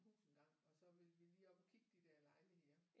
Hus engang og så ville vi lige op og kigge de der lejligheder